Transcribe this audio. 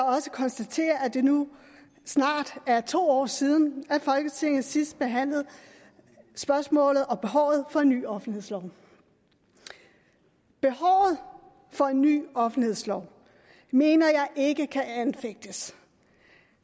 også konstatere at det nu snart er to år siden folketinget sidst behandlede spørgsmålet om og behovet for en ny offentlighedslov behovet for en ny offentlighedslov mener jeg ikke kan anfægtes